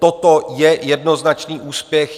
Toto je jednoznačný úspěch.